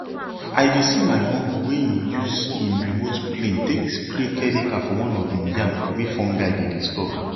i dey see my uncle wey him use him remote plane take spray chemical for one of him yam wey fungi dey disturb